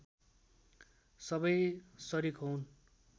सबै सरिक होऊन्